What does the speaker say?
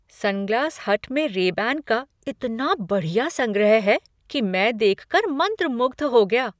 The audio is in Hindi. सनग्लास हट में रेबैन का इतना बढ़िया संग्रह है कि मैं देख कर मंत्रमुग्ध हो गया।